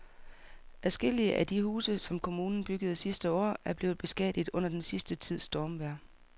Adskillige af de huse, som kommunen byggede sidste år, er blevet beskadiget under den sidste tids stormvejr.